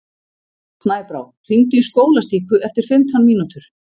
Snæbrá, hringdu í Skólastíku eftir fimmtán mínútur.